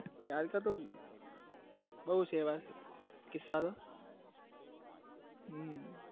હમ બઉ સેવા કિસ્સા હમમ